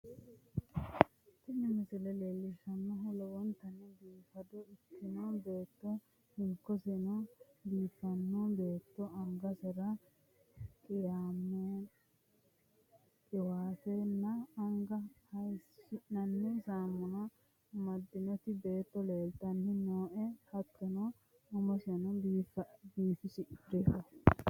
Tini misile leellishshannohu lowontanni biifado ikkitino beetto hinkoseno biiffanno beetto angasera qiwaatenna anga hayiishi'nanni saamuna amaddinoti beetto leeltanni nooe, hattono umiseno biifadoho.